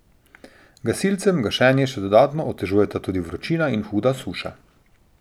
Gasilcem gašenje še dodatno otežujeta tudi vročina in huda suša.